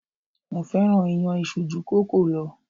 Mo fẹ́ràn iyán isu ju kòókòó lọ.